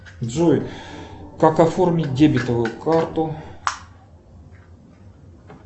джой как оформить дебетовую карту